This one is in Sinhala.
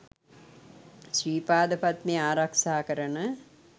ශ්‍රී පාද පද්මය ආරක්ෂා කරන